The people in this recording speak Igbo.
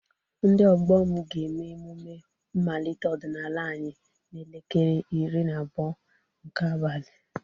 Ndị ọgbọ m ga-eme emume mmalite ọdịnala anyị n'elekere iri na abụọ nke abalị